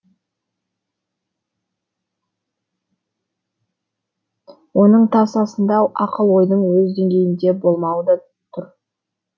оның тасасында ақыл ойдың өз деңгейінде болмауы да тұр